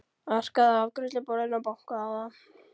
Arkaði að afgreiðsluborðinu og bankaði á það.